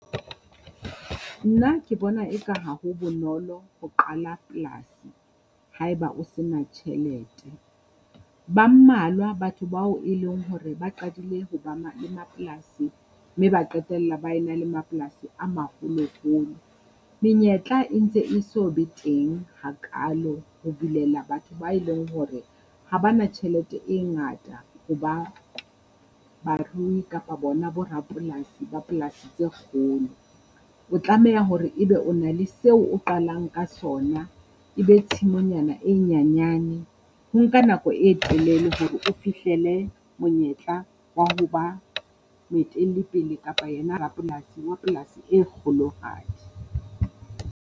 Nna ke bona eka ha ho bonolo ho qala polasi haeba o se na tjhelete. Ba mmalwa batho bao e leng hore ba qadile ho ba le mapolasi mme ba qetella ba e na le mapolasi a maholoholo. Menyetla e ntse e so be teng hakalo ho bulela batho ba e leng hore ha ba na tjhelete e ngata ho ba barui kapa bona bo rapolasi ba polasi tse kgolo. O tlameha hore e be o na le seo o qalang ka sona, e be tshimonyana e nyanyane. Ho nka nako e telele hore o fihlele monyetla wa ho ba moetelli pele kapa ena rapolasi wa polasi e kgolohadi.